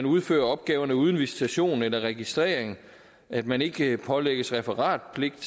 udføre opgaverne uden visitation eller registrering at man ikke pålægges referatpligt